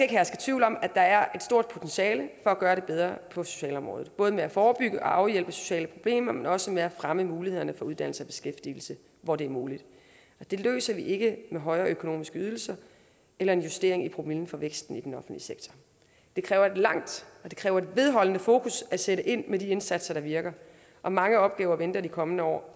herske tvivl om at der er et stort potentiale for at gøre det bedre på socialområdet både med at forebygge og afhjælpe sociale problemer men også med at fremme mulighederne for uddannelse og beskæftigelse hvor det er muligt og det løser vi ikke med højere økonomiske ydelser eller en justering i promillen for væksten i den offentlige sektor det kræver et langt og vedholdende fokus at sætte ind med de indsatser der virker og mange opgaver venter i de kommende år